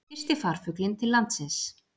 Fyrsti farfuglinn til landsins